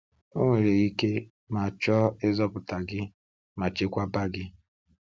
O nwere ike, ma chọọ ịzọpụta gị ma chekwaba gị.